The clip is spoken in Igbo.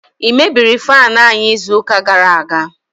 i mebiri faanu anyi izu uka gara aga?